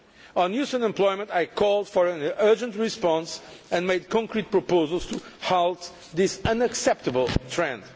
On youth unemployment, I called for an urgent response and made concrete proposals to halt this unacceptable trend.